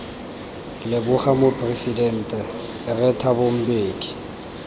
leboga moporesidente rre thabo mbeki